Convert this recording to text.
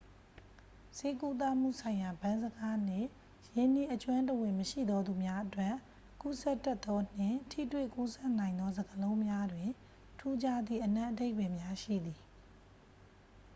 ဆေးကုသမှုဆိုင်ရာ ဗန်းစကားနှင့် ရင်းနှီးအကျွမ်းတဝင်မရှိသောသူများအတွက် ကူးစက်တတ်သော နှင့် ထိတွေ့ကူးစက်နိုင်သော စကားလုံးများတွင် ထူးခြားသည့် အနက်အဓိပ္ပာယ်များရှိသည်